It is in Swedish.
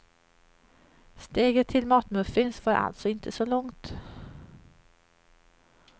Steget till matmuffins var alltså inte så långt.